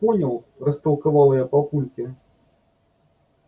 понял растолковала я папульке